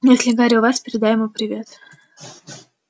если гарри у вас передай ему привет